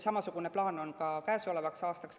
Samasugune plaan on ka käesolevaks aastaks.